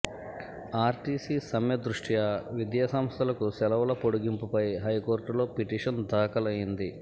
RTC సమ్మె దృష్యా విద్యా సంస్థలకు సెలవుల పొడిగింపుపై హైకోర్టులో పిటిషన్ దాఖలైంది